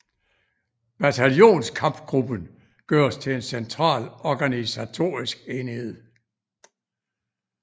Bataljonskampgruppen gøres til en central organisatorisk enhed